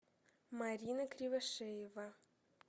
марина кривошеева